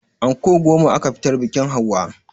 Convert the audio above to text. Anko goma aka fitar biƙin hauwa